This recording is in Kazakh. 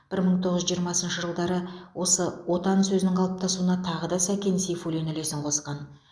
бір мың тоғыз жүз жиырмасыншы жылдары осы отан сөзінің қалыптасуына тағы да сәкен сейфуллин үлесін қосқан